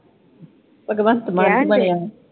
ਭਗਵੰਤ ਮਾਨ ਬਣਿਆ